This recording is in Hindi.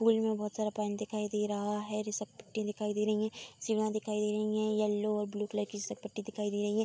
पूल में बहोत सारा पानी दिखाई दे रहा है। रिसपट्टी दिखाई दे रही हैं। सीमा दिखाई दे रही हैं। येलो और ब्लू कलर रिसपटी दिखाई दे रही हैं।